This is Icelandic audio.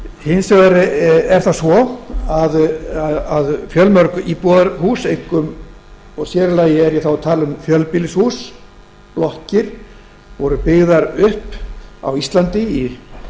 hins vegar er það svo fjölmörg íbúðarhús og þá er ég einkum og sér í lagi að tala um fjölbýlishús eða blokkir sem voru byggðar upp á íslandi í